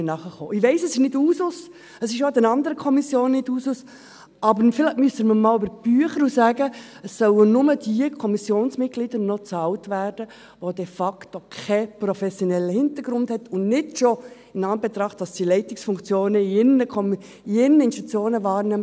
Ich weiss, es ist nicht Usus, es ist auch in den anderen Kommissionen nicht Usus, aber vielleicht müssen wir einmal über die Bücher gehen und sagen, es sollten nur diejenigen Kommissionsmitglieder bezahlt werden, die keinen professionellen Hintergrund haben und nicht schon dort Einsitz nehmen, weil sie Leitungsfunktionen in ihren Institutionen wahrnehmen.